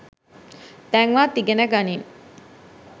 දැන්වත් ඉගනගනින්